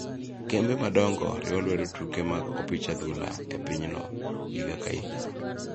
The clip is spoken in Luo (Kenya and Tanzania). Kembe madongo riwo lwedo tuke mag opich adhula e pinyno higa ka higa.